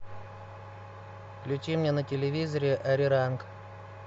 включи мне на телевизоре ариранг